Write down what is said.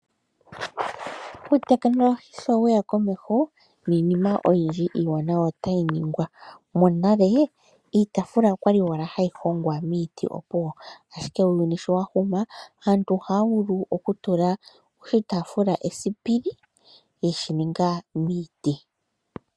Uutekinolohi sho we ya komeho niinima iiwanawa oyindji ota yi ningwa. muuyuni monale iitafula okwali owala ha yi hongwa miiiti opuwo, ashike uuyuni sho wa huma komeho aantu oha ya vulu okutula oshitaaafula esipili yeshi ninga miiti.